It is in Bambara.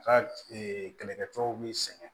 Ka kɛlɛkɛ cɛw b'i sɛgɛn